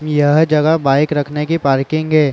यह जगह बाइक रखने की पार्किंग है। .